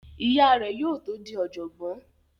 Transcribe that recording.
Ìyá rẹ̀ yóò tó di ọ̀jọ̀gbọ́n